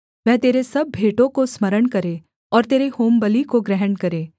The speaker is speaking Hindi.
वह तेरे सब भेंटों को स्मरण करे और तेरे होमबलि को ग्रहण करे सेला